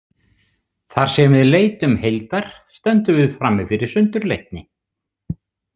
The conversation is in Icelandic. Þar sem við leitum heildar stöndum við frammi fyrir sundurleitni.